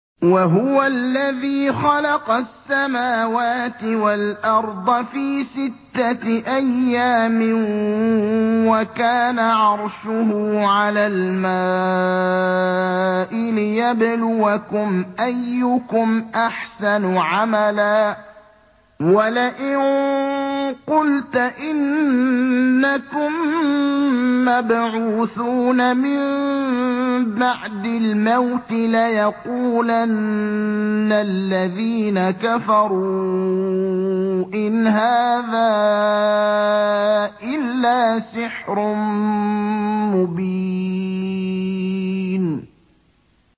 وَهُوَ الَّذِي خَلَقَ السَّمَاوَاتِ وَالْأَرْضَ فِي سِتَّةِ أَيَّامٍ وَكَانَ عَرْشُهُ عَلَى الْمَاءِ لِيَبْلُوَكُمْ أَيُّكُمْ أَحْسَنُ عَمَلًا ۗ وَلَئِن قُلْتَ إِنَّكُم مَّبْعُوثُونَ مِن بَعْدِ الْمَوْتِ لَيَقُولَنَّ الَّذِينَ كَفَرُوا إِنْ هَٰذَا إِلَّا سِحْرٌ مُّبِينٌ